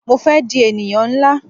Mo fé di ènìyàn nlá